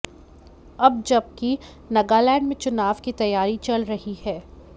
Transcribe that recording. अब जबकि नगालैंड में चुनाव की तैयारी चल रही है